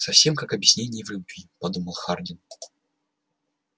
совсем как объяснение в любви подумал хардин